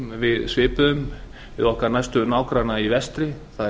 svipuðum samningum við okkar næstu nágranna í vestri